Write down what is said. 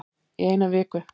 Í eina viku